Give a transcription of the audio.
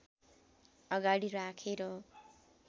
अगाडि राखेर